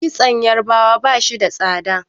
kitson yarabawa ba shi da tsada